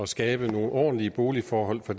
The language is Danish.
skabe nogle ordentlige boligforhold for